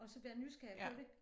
Og så være nysgerrig på det